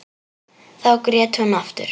Þá grét hún aftur.